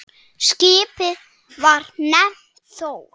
Skipið var nefnt Þór.